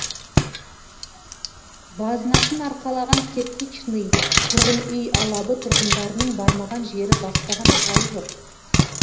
базынасын арқалаған кирпичный тұрғын үй алабы тұрғындарының бармаған жері баспаған тауы жоқ